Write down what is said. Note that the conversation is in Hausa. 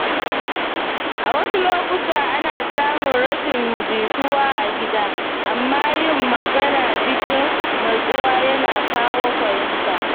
A wasu lokuta, ana samun rashin jituwa a gida, amma yin magana cikin natsuwa yana kawo mafita.